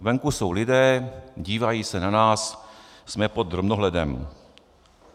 Venku jsou lidé, dívají se na nás, jsme pod drobnohledem.